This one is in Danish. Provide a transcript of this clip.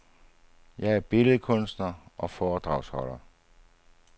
Jeg er billedkunstner og foredragsholder.